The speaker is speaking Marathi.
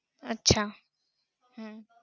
अच्छा!